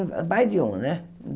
Mais de um, né?